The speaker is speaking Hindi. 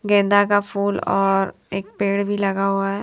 गेंदा का फूल और एक पेड़ भी लगा हुआ है।